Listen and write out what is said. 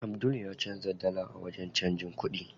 Abdul ya canza dala a wajen canjin kuɗi.